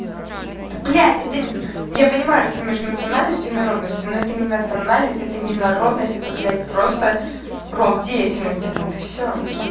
да блять это я понимаю разницу между национальностью и народностью но это не национальность это не народность это блять просто род деятельности вот и всё